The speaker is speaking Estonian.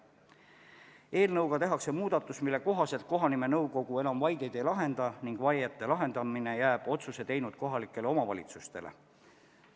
Selle eelnõuga tehakse muudatus, mille kohaselt kohanimenõukogu enam vaideid ei lahenda ning vaiete lahendamine jääb otsuse teinud kohaliku omavalitsuse ülesandeks.